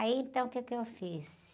Aí, então, o quê que eu fiz?